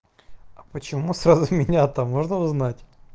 а почему сразу меня то можно узнать